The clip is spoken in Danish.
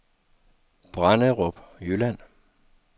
Branderup Jylland